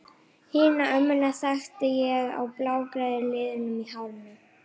Hina ömmuna þekkti ég á blágráu liðunum í hárinu.